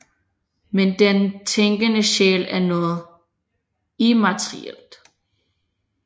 Men den tænkende sjæl er noget immaterielt